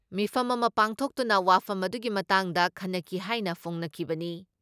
ꯃꯤꯐꯝ ꯑꯃ ꯄꯥꯡꯊꯣꯛꯇꯨꯅ ꯋꯥꯐꯝ ꯑꯗꯨꯒꯤ ꯃꯇꯥꯡꯗ ꯈꯟꯅꯈꯤ ꯍꯥꯏꯅ ꯐꯣꯡꯅꯈꯤꯕꯅꯤ ꯫